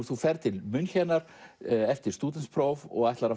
þú ferð til München eftir stúdentspróf og ætlar